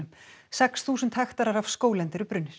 sex þúsund hektarar af skóglendi eru